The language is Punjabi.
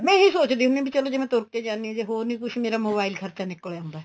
ਮੈਂ ਇਹੀ ਸੋਚਦੀ ਹੁੰਨੀ ਆ ਜਿਵੇਂ ਤੁਰ ਕੇ ਜਾਨੀ ਆ ਜੇ ਹੋਰ ਨੀਂ ਕੁੱਝ ਮੇਰਾ mobile ਖਰਚਾ ਨਿਕਲ ਆਉਂਦਾ